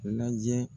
Lajɛ